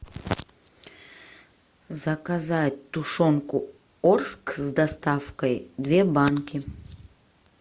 заказать тушенку орск с доставкой две банки